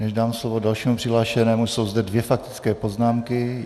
Než dám slovo dalšími přihlášenému, jsou zde dvě faktické poznámky.